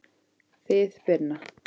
Þið Binna?